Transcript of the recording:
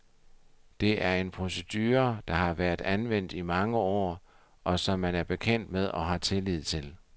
Det er en procedure, der har været anvendt i mange år, og som man er bekendt med og har tillid til.